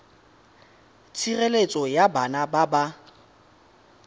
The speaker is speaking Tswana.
tshireletso ya bana ba ba